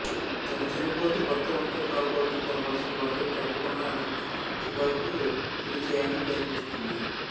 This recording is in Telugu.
తన చనిపోతే భర్త ఒంటరి కాకూడదని తన పరిస్థితి భర్తకు చెప్పకుండానే అతనికి సుధకు పెళ్ళి చేయాలని ప్రయత్నిస్తుంది